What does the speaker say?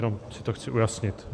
Jenom si to chci ujasnit.